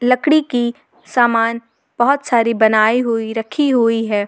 लकड़ी की समान बहुत सारी बनाई हुई रखी हुई है।